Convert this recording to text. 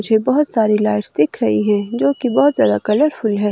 पीछे बहुत सारी लाइट्स दिख रही हैं जो कि बहोत ज्यादा कलरफुल है।